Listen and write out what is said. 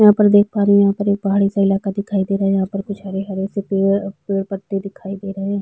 यहाँ पर देख रहे है यहाँ पर एक पहाड़ी सा इलाका दिखाई दे रहा है यहाँ पर कुछ हरे-हरे पेड़ पत्ते दिखाई दे रहे है।